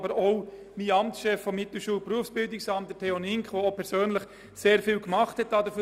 Auch der Amtschef des Mittelschul- und Berufsbildungsamtes, Theo Ninck, der sich dafür persönlich sehr engagiert hat.